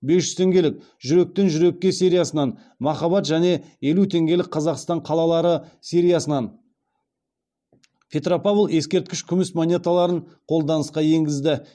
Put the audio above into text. бес жүз теңгелік жүректен жүрекке сериясынан махаббат және елу теңгелік қазақстан қалалары сериясынан петропавл ескерткіш күміс монеталарын қолданысқа енгізді